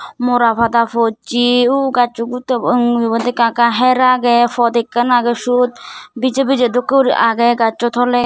mora pada pojse u gazso gutte bo ing mujugot ekka ekka her agey pot ekkan age siyot bije bije dokke guri agey gazso tole.